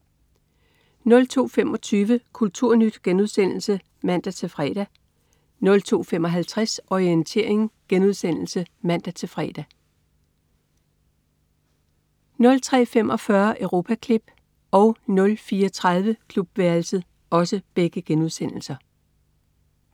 02.25 Kulturnyt* (man-fre) 02.55 Orientering* (man-fre) 03.45 Europaklip* 04.30 Klubværelset*